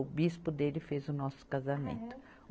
O bispo dele fez o nosso casamento. Ah é?